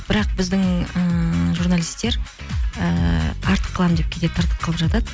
бірақ біздің ііі журналистер ііі артық қыламын деп кейде тыртық қылып жатады